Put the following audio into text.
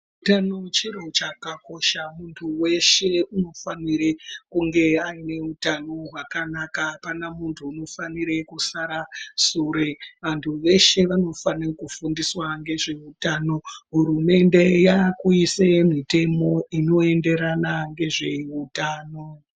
Utano chiro chakakosha, muntu weshe unofanire kunge aine utano hwakanaka. Hapana muntu unofanire kusara sure. Vantu veshe vanofane kufundiswa ngezveutano. Hurumende yaakuise mitemo inoenderana ngezveutano.